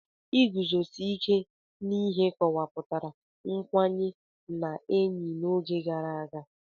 Iguzosi ike n'ihe kọwapụtara nkwanye ndị enyi n'oge gara aga.